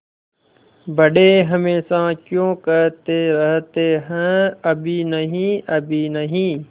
बड़े हमेशा क्यों कहते रहते हैं अभी नहीं अभी नहीं